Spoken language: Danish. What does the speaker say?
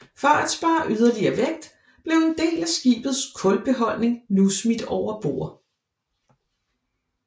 For at spare yderligere vægt blev en del af skibets kulbeholdning nu smidt over bord